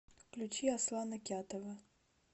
включи аслана кятова